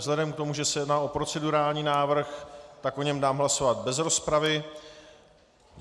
Vzhledem k tomu, že se jedná o procedurální návrh, tak o něm dám hlasovat bez rozpravy.